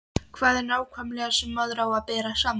Hvað er það nákvæmlega sem maður á að bera saman?